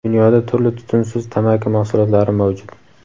Dunyoda turli tutunsiz tamaki mahsulotlari mavjud.